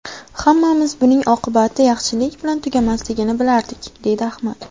Hammamiz buning oqibati yaxshilik bilan tugamasligini bilardik”, deydi Ahmad.